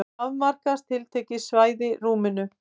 Þannig afmarkast tiltekið svæði í rúminu.